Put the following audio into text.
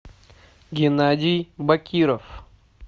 геннадий бакиров